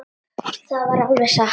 Það var alveg satt.